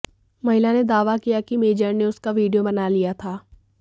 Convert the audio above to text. महिला ने दावा किया कि मेजर ने उसका वीडियो बना लिया था